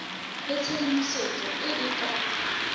le tshedimosetso e e ka